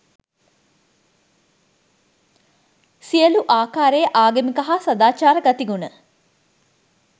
සියලු ආකාරයේ ආගමික හා සදාචාර ගති ගුණ